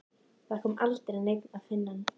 Það kom aldrei neinn að finna hann.